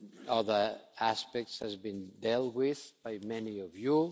now. Other aspects have been dealt with by many of